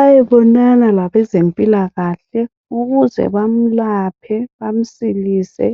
ayebonana labezempila kahle ukuze bamlaphe bamsilise